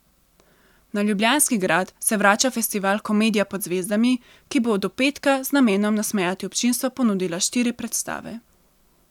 Na Ljubljanski grad se vrača festival Komedija pod zvezdami, ki bo do petka z namenom nasmejati občinstvo ponudila štiri predstave.